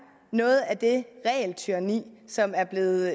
noget af det regeltyranni som er blevet